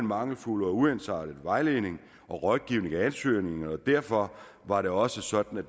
mangelfuld og uensartet vejledning og rådgivning af ansøgerne og derfor var det også sådan at